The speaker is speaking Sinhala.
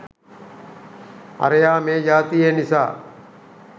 අරයා මේ ජාතියේ නිසා